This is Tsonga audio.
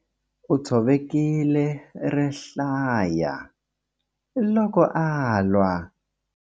U tshovekile rihlaya loko a lwa.